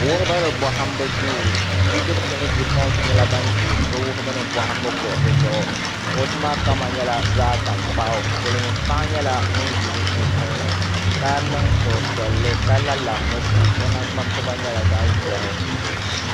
Wuhibu ni bɔhimbu duu bidibisi ni bipuɣinsi nyɛla ban ʒi bɛ wuhibu ni bɔhimbu kuɣusi zuɣu kuɣusi maa kama nyɛla zaɣ' taŋkpaɣu silimiin' paɣa nyɛla ŋun ʒi bɛ sunsuuni ka niŋ suhupiɛlli ka la lamusi o naŋɡbampiba nyɛla zaɣ' ʒɛhi